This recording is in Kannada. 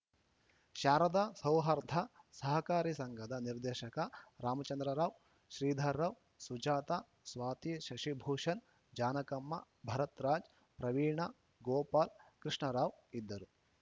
ಶಾರದಾ ಸೌಹಾರ್ಧ ಸಹಕಾರಿ ಸಂಘದ ನಿರ್ದೇಶಕ ರಾಮಚಂದ್ರರಾವ್‌ ಶ್ರೀಧರ್‌ರಾವ್‌ ಸುಜಾತ ಸ್ವಾತಿ ಶಶಿಭೂಷಣ್‌ ಜಾನಕಮ್ಮ ಭರತ್‌ರಾಜ್‌ ಪ್ರವೀಣ ಗೋಪಾಲ್‌ ಕೃಷ್ಣರಾವ್‌ ಇದ್ದರು